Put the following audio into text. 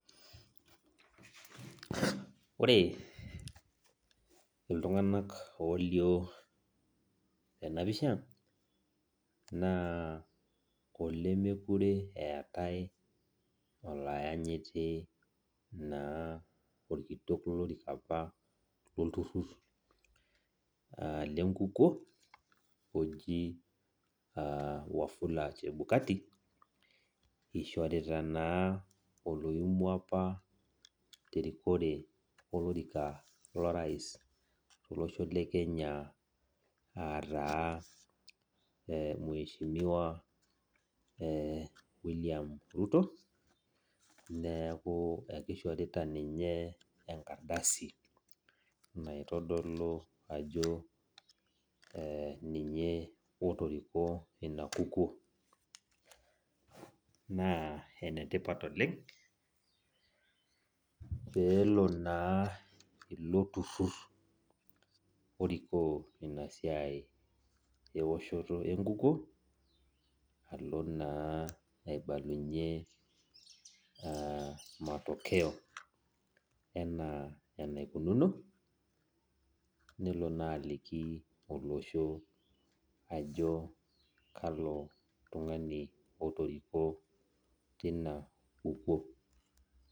Ore ltunganak olio tenapisha na olemekure eetae oloanyiti oleng orkitok lolorika apa lolturur lenkukuo oji wafula chabukati ishorita na oloimua apa tolorika lorais tolosho le Kenya ataa mweshimiwa william ruto akishorita ninche naotodolu ajo ninye otorikuo inakukuo na enetipat oleng pelo na ilo turur orikoo inasiai eoshoto enkukuo alo na aibalunye matokeo ana nelo na aliki olosho ajo kalo tungani otoriko.